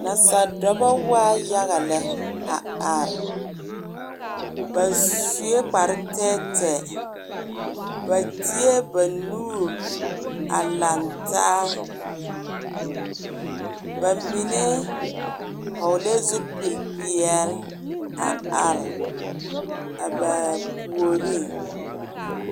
Nasadɔbɔ waa yaga lɛ a are ba sue kparre tɛɛtɛɛ ba deɛ ba nuuri a lantaa bamine vɔgle zupili peɛle a are a ba puoriŋ.